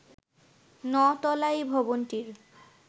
ন’তলা এই ভবনটির